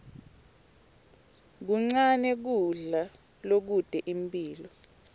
kuncane kudla lokute imphilo